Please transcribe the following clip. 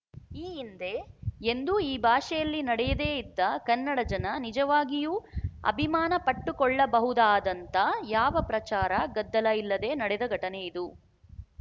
ಈ ಹಿಂದೆ ಎಂದೂ ಈ ಭಾಷೆಯಲ್ಲಿ ನಡೆಯದೆ ಇದ್ದ ಕನ್ನಡ ಜನ ನಿಜವಾಗಿಯೂ ಅಭಿಮಾನಪಟ್ಟುಕೊಳ್ಳಬಹುದಾದಂಥ ಯಾವ ಪ್ರಚಾರ ಗದ್ದಲ ಇಲ್ಲದೆ ನಡೆದ ಘಟನೆ ಇದು